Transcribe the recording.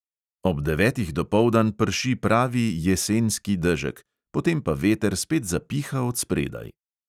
Ob devetih dopoldan prši pravi "jesenski" dežek, potem pa veter spet zapiha od spredaj.